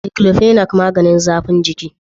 "Diclofenac" maganin zafin giki.